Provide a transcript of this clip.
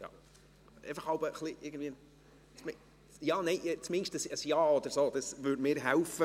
– Bitte zumindest ein Ja, dies würde mir helfen.